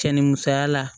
Cɛ ni musoya la